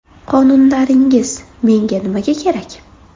Qonunlaringiz menga nimaga kerak?